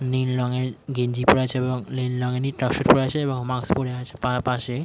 নীল রঙে এর গেঞ্জি পরে আছে এবং নীল রং এরই ট্রাকসুট এবং মাস্ক পরে আছে পা পাশেই ।